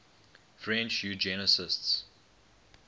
french eugenicists